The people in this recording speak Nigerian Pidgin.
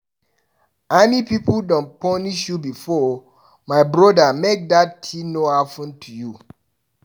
Army pipu don punish you before? my broda make dat kind tin no happen to you.